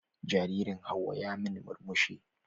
Jaririn Hauwa ya min murmushi.